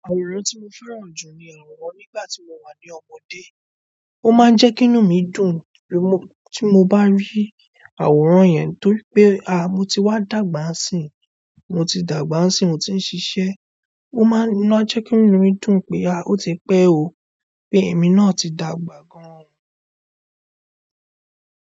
Àwòrán tí mo fẹ́ràn jù ni àwòrán nígbà tí mo wà ní ọmọdé. Ó máa ń jẹ́ kí inú mi dùn tí mo, tí mo bá rí àwòrán yẹn torí pé a, mo ti wá dàgbà n sín, mo ti dàgbà n sín, mo ti ń ṣiṣẹ́. O maa n jẹ ki inú mi dùn pe a oti pẹ o, pe emi náà ti dàgbà gan o.